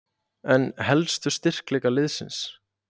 En helstu styrkleika liðsins?